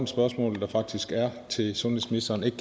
spørgsmål der faktisk er til sundhedsministeren ikke